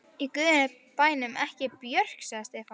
Í guðanna bænum ekki Björk, sagði Stefán.